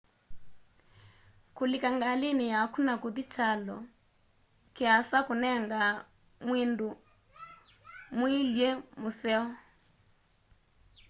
kũlĩka ngalĩnĩ yakũ na kũthĩ kyalonĩ kĩasa kũnengaa mwĩndũ mwĩw'ĩle mũseo